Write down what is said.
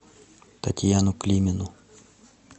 татьяну климину